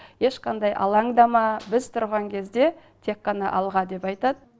ешқандай алаңдама біз тұрған кезде тек қана алға деп айтады